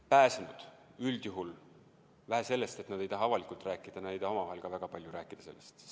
Pääsenud üldjuhul, vähe sellest, et nad ei taha juhtunust avalikult rääkida, nad ei taha omavahel ka väga palju sellest rääkida.